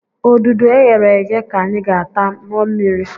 Odudu e ghere eghe ka anyị ga-ata, ṅụọ mmiri